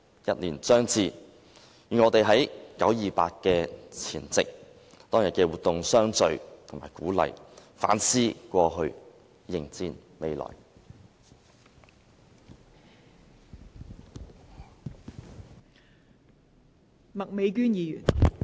一年將至，願我們在九二八的前夕，在當天的活動中相聚和鼓勵，反思過去，迎戰未來。